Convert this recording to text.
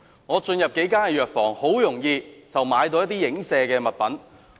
我進入數間藥房，很容易便買到一些影射產品。